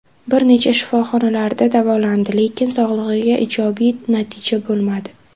Bir necha shifoxonalarda davolandi, lekin sog‘ligida ijobiy natija bo‘lmadi.